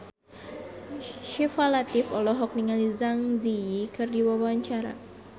Syifa Latief olohok ningali Zang Zi Yi keur diwawancara